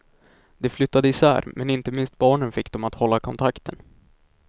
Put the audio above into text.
De flyttade isär, men inte minst barnen fick dem att hålla kontakten.